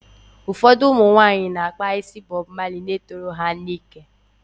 Ụfọdụ ụmụnwaanyị na-akpa ísí Bọb Mali na-etoru ha n'íkè.